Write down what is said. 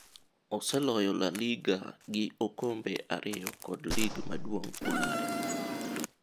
Oseloyo La Liga gi okombe ariyo kod lig maduong' Ulaya.